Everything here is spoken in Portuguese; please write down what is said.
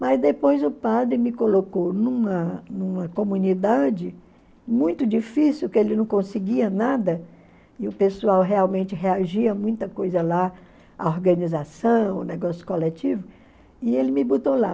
Mas depois o padre me colocou numa numa comunidade muito difícil, que ele não conseguia nada, e o pessoal realmente reagia a muita coisa lá, a organização, o negócio coletivo, e ele me botou lá.